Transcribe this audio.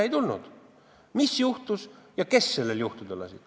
Ei tulnud välja, mis juhtus ja kes sellel juhtuda lasi.